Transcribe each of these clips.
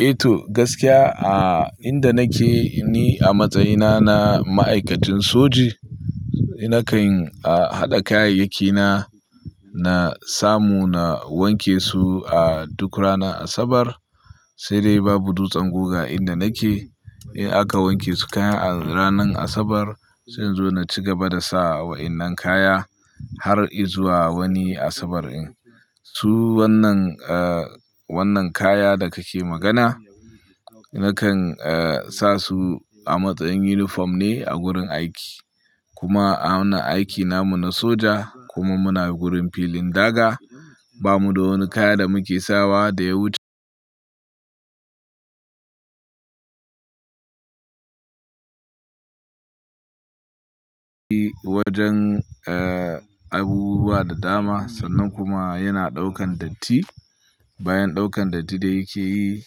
Eh to, gaskiya a inda nake ni a matsayina na ma'aikacin soji, nakan haɗa kayayyaki na, na samu na wanke su a duk rana Asabar, sai dai babu dutsen guga a inda nake. In aka wanke su kaya a ranar Asabar sai in zo na cigaba da sa wa'innan kaya har izuwa wani Asabar in. Su wannan, eh wannan kaya da kake magana nakan sa su a matsayin uniform ne a gurin aiki. Kuma a wannan aiki na mu na soja kuma muna gurin filin daga, ba mu da wani kaya da muke sawa da ya wuce wajen abubuwa da dama sannan kuma yana ɗaukan datti. Bayan ɗaukan datti da yake yi,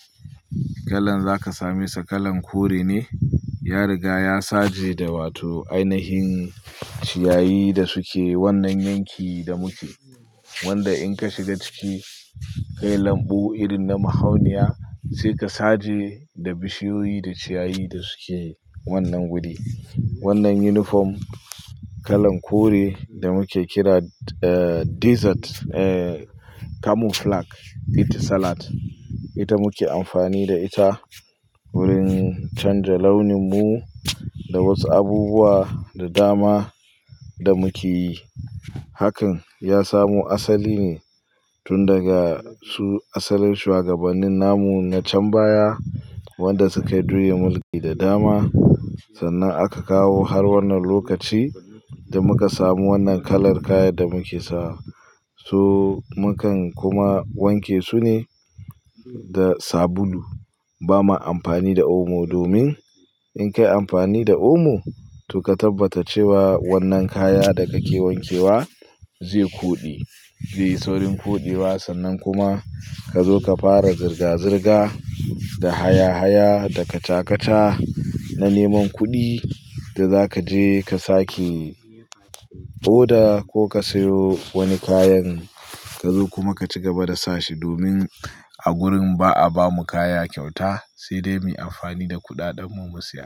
kalan za ka same sa kalan kore ne. Ya riga ya saje da wato ainihin ciyayi da suke wannan yanki da muke. Wanda in ka shiga ciki, ka yi lambo irin na mahauniya sai ka saje da bishiyoyi da ciyayi da suke wannan wuri. Wannan uniform kalan kore da muke kira desert camouflage, ita salad ita muke amfani da ita wurin canza launin mu da wasu abubuwa da dama da muke yi. Hakan ya samu asali ne tun daga su asalin shugabanin namu na can baya, wanda sukayiduyin mulki da dama. Sannan aka kawo har wannan lokaci da muka samu wannan kalar kayan da muke sawa. Su mukan kuma wanke su ne da sabulu. Ba ma amfani da omo domin in ka yi amfani da omo, to ka tabbata cewa wannan kaya da kake wankewa zai kuɗe. Zai yi saurin kuɗe wa sannan kuma ka zo ka fara zirga zirga da haya haya da kaca kaca na neman kuɗi da za ka je ka sake oda ko ka sayo wani kayan ka zo kuma ka cigaba da sa shi domin a gurin ba a bamu kaya kyauta sai dai muyi amfani da kuɗaɗen mu mu siya.